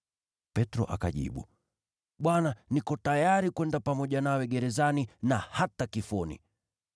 Petro akajibu, “Bwana, niko tayari kwenda pamoja nawe gerezani na hata kifoni.”